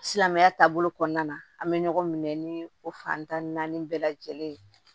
Silamɛya taabolo kɔnɔna na an bɛ ɲɔgɔn minɛ ni o fantan naani bɛɛ lajɛlen ye